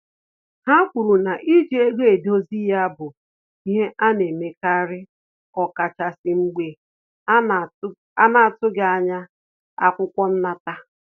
Ha kwuru na iji ego edozi ya bụ ihe ana-emekari ọkachasi mgbe a na-atughi anya akwụkwọ nnata